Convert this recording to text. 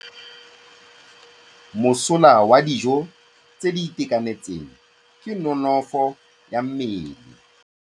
Mosola wa dijô tse di itekanetseng ke nonôfô ya mmele.